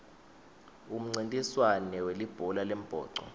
umncintiswand welibhola lembhoco